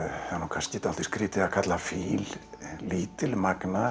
það er nú kannski dálítið skrýtið að kalla fíl